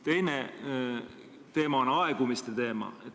Teine teema on aegumise teema.